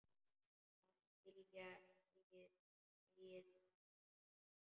Að skilja eigið líf.